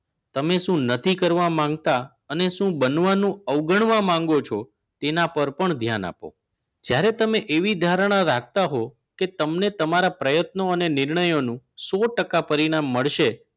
તમે શું નથી કરવા માંગતા અને શું બનવાનું અવગણવા માંગો છો તેના પર પણ ધ્યાન આપો જ્યારે તમે એવી ધારણા રાખતા હોવ કે તમને તમારા પ્રયત્નોનો અને નિર્ણયનો સો ટકા પરિણામ મળશે